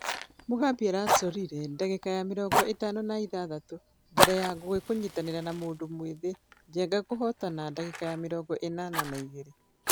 .....mũgambi aracorire ....dagĩka ya mĩrongo itano na ithathatu mbere ya ngugi kũnyitana na mũndũ mwĩthĩ njenga kũhotana dagĩka ya mĩrongo ĩnana na igĩrĩ.